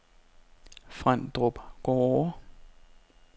Frendrup Gårde